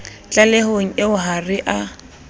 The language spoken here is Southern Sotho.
tlalehong eo ha re a